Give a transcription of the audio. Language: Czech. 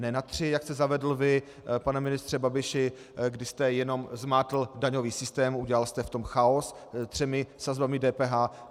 Ne na tři, jak jste zavedl vy, pane ministře Babiši, kdy jste jenom zmátl daňový systém, udělal jste v tom chaos třemi sazbami DPH.